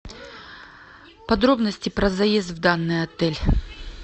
подробности про заезд в данный отель